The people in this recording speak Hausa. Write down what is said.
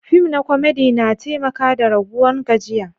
Fim na komedi na taimaka da raguwan gajiya.